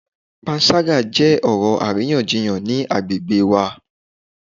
Panṣaga jẹ koko-ọrọ ariyanjiyan ni agbegbe wa